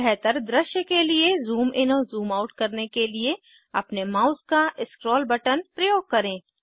बेहतर दृश्य के लिए ज़ूम इन और ज़ूम आउट करने के लिए अपने माउस का स्क्रॉल बटन प्रयोग करें